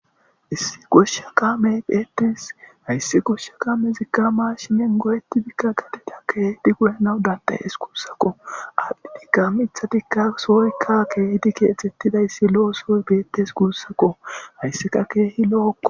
Issi goshsha kamey beetis hayssi goshsha kame zikka maa shimen goyeti bikka gadida keehidi guyenawu dandayees kuussakko adhdhidika mithadikka soykka keehdi keexxettidayssi lo'o sooy beettes guussakko hayssika keehi lo'okko.